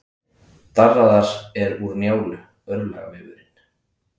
Darraðar er úr Njálu, örlagavefurinn.